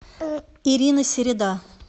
ирина середа